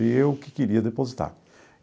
E eu que queria depositar.